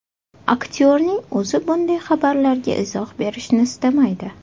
Aktyorning o‘zi bunday xabarlarga izoh berishni istamaydi.